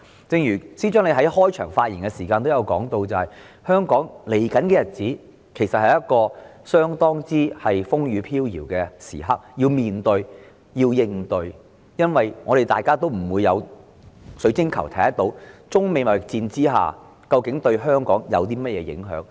正如司長在開場發言時提到，香港接下來的日子其實正值相當風雨飄搖的時刻，要認真面對和應對，因為沒有人有水晶球可以預視中美貿易戰對香港究竟有何影響。